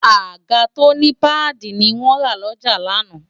àga tó ní páàdì ni wọ́n rà lọ́jà lánàá